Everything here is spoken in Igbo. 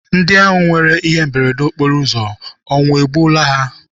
Ndị ahụ nwere ihe mberede okporo ụzọ ọnwụ egbuola ha?